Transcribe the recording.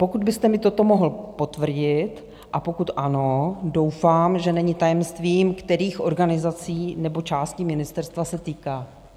Pokud byste mi toto mohl potvrdit a pokud ano, doufám, že není tajemstvím, kterých organizací nebo částí ministerstva se týká.